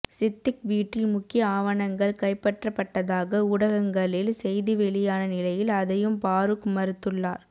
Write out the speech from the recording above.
சித்திக் வீட்டில் முக்கிய ஆவணங்கள் கைப்பற்றப்பட்டதாக ஊடகங்களில் செய்தி வெளியான நிலையில் அதையும் பாரூக் மறுத்துள்ளார்